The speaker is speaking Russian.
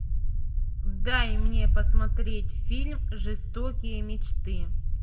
дай мне посмотреть фильм жестокие мечты